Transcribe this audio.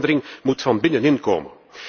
Die verandering moet van binnenin komen!